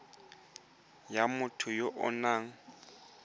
ya motho ya o nang